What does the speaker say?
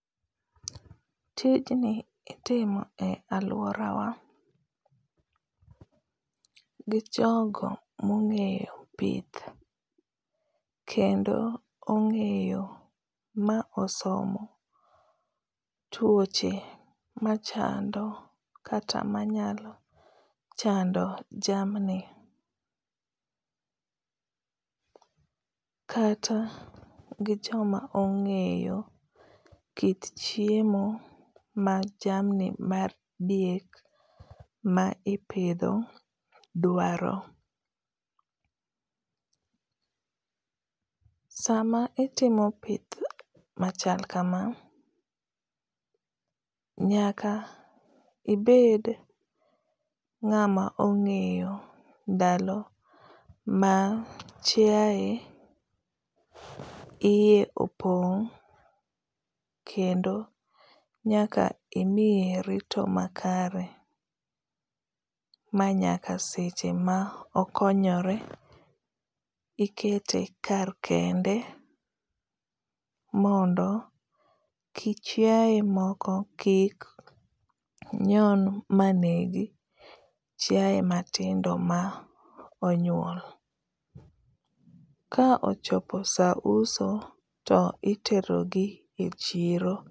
Tijni itimo e aluorawa gi jogo mong'eyo pith kendo ong'eyo ma osomo tuoche machando kata manyalo chando jamni, kata gi joma ong'eyo kit chiemo ma jamni mar dhiek ma ipidho duaro. Sama itimo pith machal kama, nyaka ibed ng’ama ong’eyo ndalo ma chiae iye opong kendo nyaka imiye rito makare ma nyaka seche ma okonyore ikete kar kende mondo kik chiae moko kik nyon manegi chiae matindo ma onyuol. ka ochopo sa uso to itero gi e chiro.